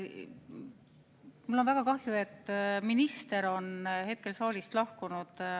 Mul on väga kahju, et minister on hetkel saalist lahkunud.